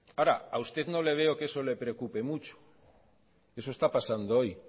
ahora a usted no le veo que a usted le preocupe mucho eso está pasando hoy